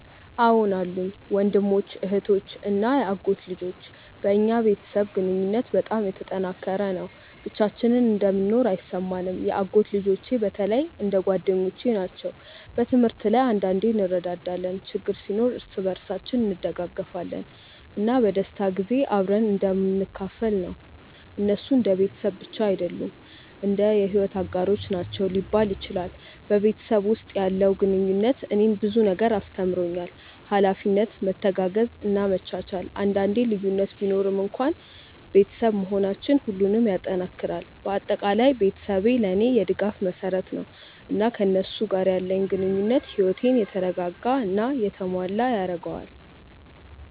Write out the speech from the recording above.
አዎን አሉኝ፤ ወንድሞች፣ እህቶች እና የአጎት ልጆች። በእኛ ቤተሰብ ግንኙነት በጣም የተጠናከረ ነው፣ ብቻችንን እንደምንኖር አይሰማንም። የአጎት ልጆቼ በተለይ እንደ ጓደኞቼ ናቸው። በትምህርት ላይ አንዳንዴ እንረዳዳለን፣ ችግር ሲኖር እርስ በርሳችን እንደግፋለን፣ እና በደስታ ጊዜ አብረን እንደምንካፈል ነው። እነሱ እንደ ቤተሰብ ብቻ አይደሉም፣ እንደ የሕይወት አጋሮች ናቸው ሊባል ይችላል። በቤተሰብ ውስጥ ያለው ግንኙነት እኔን ብዙ ነገር አስተምሮኛል፤ ኃላፊነት፣ መተጋገዝ እና መቻቻል። አንዳንዴ ልዩነት ቢኖርም እንኳን ቤተሰብ መሆናችን ሁሉንም ይጠናክራል። በአጠቃላይ ቤተሰቤ ለእኔ የድጋፍ መሰረት ነው፣ እና ከእነሱ ጋር ያለኝ ግንኙነት ሕይወቴን የተረጋጋ እና የተሞላ ያደርገዋል።